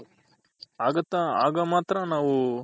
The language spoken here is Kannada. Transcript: ಆಗುತ್ತ ಆಗ ಮಾತ್ರ ನಾವು